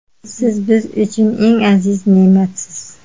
siz biz uchun eng aziz ne’matsiz.